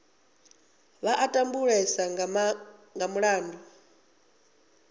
vha a tambulesa nga mulandu